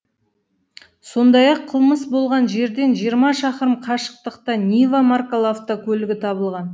сондай ақ қылмыс болған жерден жиырма шақырым қашықтықта нива маркалы автокөлігі табылған